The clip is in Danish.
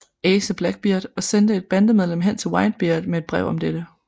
Ace og Blackbeard og sendte et bandemedlem hen til Whitebeard med et brev om dette